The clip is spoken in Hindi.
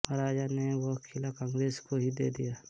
महाराजा ने वह किला कांग्रेस को ही दे दिया